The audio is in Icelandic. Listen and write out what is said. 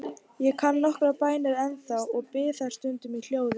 Ég kann nokkrar bænir ennþá og bið þær stundum í hljóði.